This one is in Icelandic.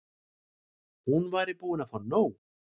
Hún væri búin að fá nóg.